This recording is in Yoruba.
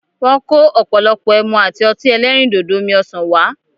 Wọ́n kò ọ̀pọ̀lọpọ̀ ẹmu àti ọtí ẹlẹ́rìndòdò omi-ọ̀sán wá.